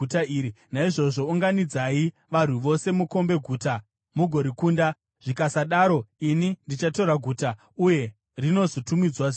Naizvozvo unganidzai varwi vose mukombe guta mugorikunda. Zvikasadaro ini ndichatora guta, uye rinozotumidzwa zita rangu.”